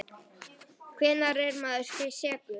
Hvenær er maður sekur?